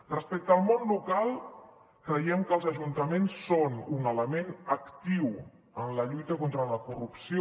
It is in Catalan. respecte al món local creiem que els ajuntaments són un element actiu en la lluita contra la corrupció